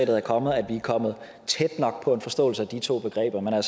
er kommet at vi er kommet tæt nok på en forståelse af de to begreber men jeg